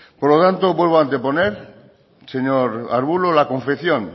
por lo tanto vuelvo a anteponer señor ruiz de arbulo la confección